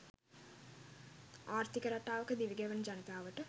ආර්ථික රටාවක දිවිගෙවන ජනතාවට